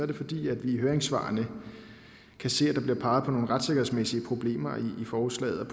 det fordi vi i høringssvarene kan se at der bliver peget på nogle retssikkerhedsmæssige problemer i forslaget